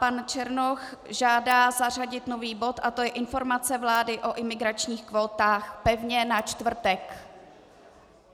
Pan Černoch žádá zařadit nový bod a to je Informace vlády o imigračních kvótách, pevně na čtvrtek.